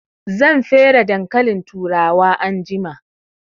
Zan fere dankalin turawa anjima